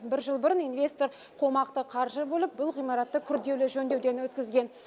бір жыл бұрын инвестор қомақты қаржы бөліп бұл ғимаратты күрделі жөндеуден өткізген